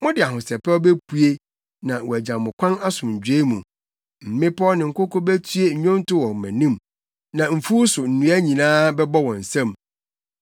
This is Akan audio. Mode ahosɛpɛw bepue na wɔagya mo kwan asomdwoe mu; mmepɔw ne nkoko betue nnwonto wɔ mo anim, na mfuw so nnua nyinaa bɛbɔ wɔn nsam.